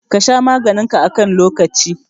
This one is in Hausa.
Ka sha maganin ka a kan lokaci.